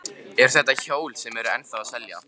Eru þetta hjól sem eru ennþá að selja?